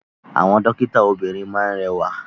Àwọn dókítà obìrin máa ni rẹwa.